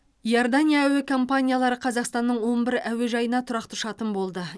иордания әуе компаниялары қазақстанның он бір әуежайына тұрақты ұшатын болды